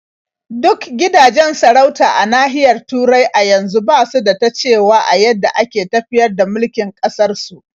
Duk gidajen sarauta a nahiyar Turai a yanzu ba su da ta cewa a yadda ake tafiyar da mulkin ƙasarsu.